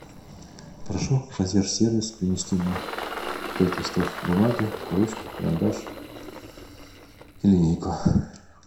прошу консьерж сервис принести мне пять листов бумаги ручку карандаш и линейку